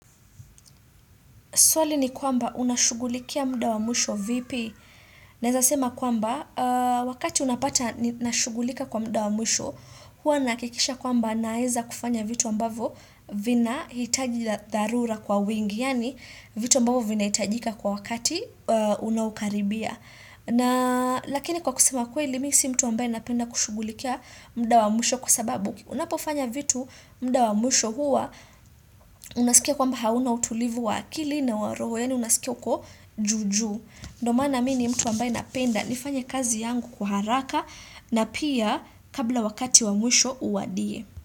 Swali ni kwamba unashugulikia muda wa mwisho vipi. Naeza sema kwamba, wakati unapata nashugulika kwa muda wa mwisho, hua nahakikisha kwamba naeza kufanya vitu ambavo vinahitaji la dharura kwa wingi, yaani vitu ambavo vinahitajika kwa wakati unaokaribia. Lakini kwa kusema kweli, mimi si mtu ambaye napenda kushughulikia mda wa mwisho kwa sababu. Unapofanya vitu muda wa mwisho huwa unasikia kwamba hauna utulivu wa akili na wa roho yaani unasikia kwa juu juu. Ndio maana mimi ni mtu ambaye napenda nifanya kazi yangu kwa haraka na pia kabla wakati wa mwisho uwadie.